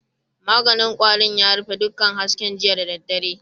Maganin kwarin ya rufe dukkan hasken jiya da daddare.